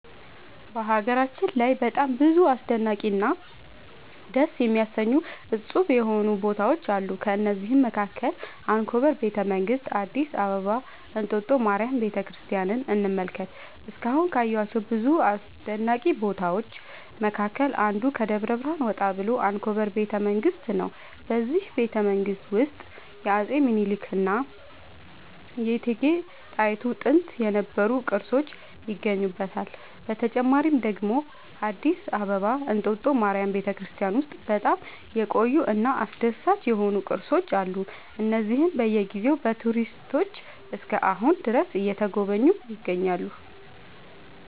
በሀገራችን ላይ በጣም ብዙ አስደናቂ እና ደስ የሚያሰኙ እፁብ የሆኑ ቦታዎች አሉ ከእነዚህም መካከል አንኮበር ቤተ መንግስት አዲስ አበባ እንጦጦ ማርያም ቤተክርስቲያንን እንመልከት እስካሁን ካየኋቸው ብዙ አስደናቂ ቦታዎች መካከል አንዱ ከደብረ ብርሃን ወጣ ብሎ አንኮበር ቤተ መንግስት ነው በዚህ ቤተመንግስት ውስጥ የአፄ ሚኒልክ እና የእቴጌ ጣይቱ ጥንት የነበሩ ቅርሶች ይገኙበታል። በተጨማሪ ደግሞ አዲስ አበባ እንጦጦ ማርያም ቤተክርስቲያን ውስጥ በጣም የቆዩ እና አስደሳች የሆኑ ቅርሶች አሉ እነዚህም በየ ጊዜው በቱሪስቶች እስከ አሁን ድረስ እየተጎበኙ ይገኛሉ